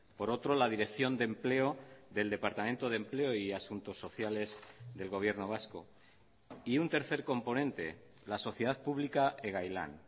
por otro la dirección de empleo del departamento de empleo y asuntos sociales del gobierno vasco y un tercer componente la sociedad pública egailan